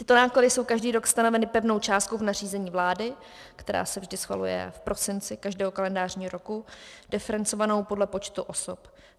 Tyto náklady jsou každý rok stanoveny pevnou částkou v nařízení vlády, která se vždy schvaluje v prosinci každého kalendářního roku, diferencovanou podle počtu osob.